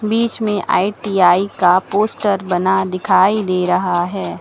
बीच में आई_टी_आई का पोस्टर बना दिखाई दे रहा है।